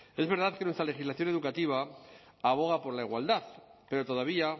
es verdad que nuestra legislación educativa aboga por la igualdad pero todavía